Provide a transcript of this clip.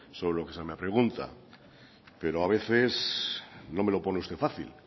sobre lo que se me pregunta pero a veces no me lo pone usted fácil